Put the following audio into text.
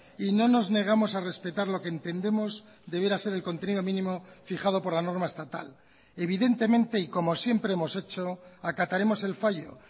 y no nos negamos a respetar lo que entendemos debiera ser el contenido mínimo fijado por la norma estatal evidentemente y como siempre hemos hecho acataremos el fallo